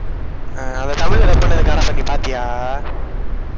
அஹ் அந்த அதை தமிழ்ல dub பண்ண காட் ஆஃப் வார் நீ பாத்தியா?